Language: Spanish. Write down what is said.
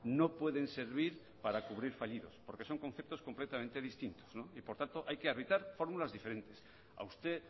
no pueden servir para cubrir fallidos porque son conceptos completamente distintos y por tanto hay que habitar formulas diferentes a usted